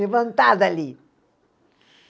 Levantar dali.